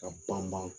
Ka banban